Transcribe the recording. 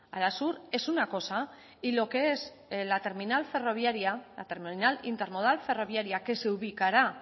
arasur es una cosa y lo que es la terminal ferroviaria la terminal intermodal ferroviaria que se ubicará